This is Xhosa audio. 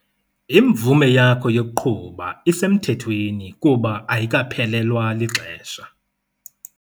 Imvume yakho yokuqhuba isemthethweni kuba ayikaphelelwa lixesha.